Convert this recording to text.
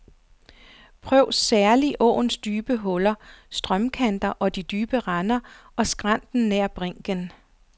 Prøv særlig åens dybe huller, strømkanter og de dybe render og skrænter nær brinken.